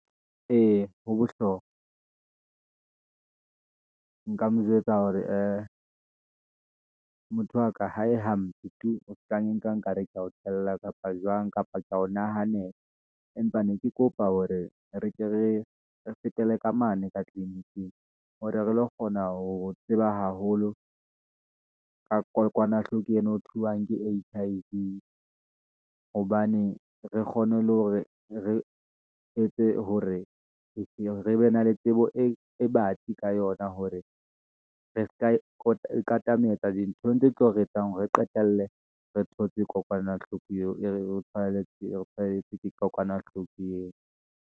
Ee, ho bohlokwa , nka mo jwetsa hore ee motho wa ka, ha e hampe tu, o se ke wa nka nkare ke ya o tella, kapa jwang, kapa ke ya o nahanela. Empa ne ke kopa hore re ke re fetele ka mane ka tliliniking, hore re lo kgona ho tseba haholo, ka kokwanahloko ena ho thuswang ke H_I_V, hobane re kgone le hore re etse hore re be na le tsebo e batsi ka yona, hore re seka ikatametse di ntho tse tlo re etsang hore re qetelle, re thotse kokwanahloko eo. E re tshwaeditse kokwanahloko eo.